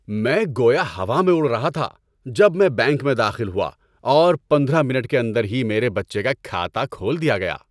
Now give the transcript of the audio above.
میں گویا ہوا میں اڑ رہا تھا جب میں بینک میں داخل ہوا اور پندرہ منٹ کے اندر ہی میرے بچے کا کھاتہ کھول دیا گیا۔